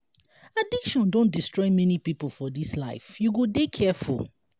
addiction don destroy many pipo for dis life you go dey careful.